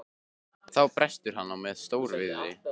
Þá brestur hann á með stór- viðri.